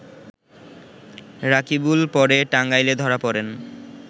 রাকিবুল পরে টাঙ্গাইলে ধরা পড়েন